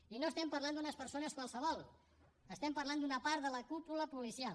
i no estem parlant d’unes persones qualsevol estem parlant d’una part de la cúpula policial